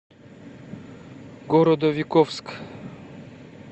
городовиковск